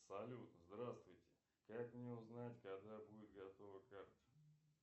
салют здравствуйте как мне узнать когда будет готова карта